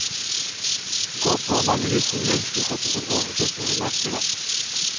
Gå på mange visninger, slik at du får oversikt over markedet.